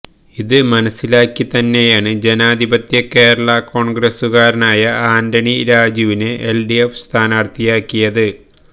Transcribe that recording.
ഇത് മനസിലാക്കി തന്നെയാണ് ജനാധിപത്യ കേരളാ കോണ്ഗ്രസുകാരനായ ആന്റണി രാജുവിനെ എല്ഡിഎഫ് സ്ഥാനാര്ത്ഥിയാക്കിയത്